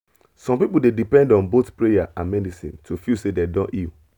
some people dey depend on both prayer and medicine to feel say dem don heal